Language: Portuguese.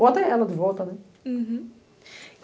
Ou até ela de volta, né? Uhum